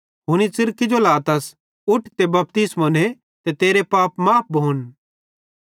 हुनी च़िर किजो लातस उठ ते बपतिस्मो ने ते तेरे पाप माफ़ भोन